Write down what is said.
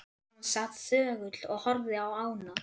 Hann sat þögull og horfði á ána.